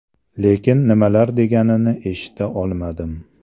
Lekin nimalar deganini eshita olmadim.